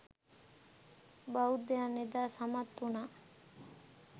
බෞද්ධයන් එදා සමත් උනා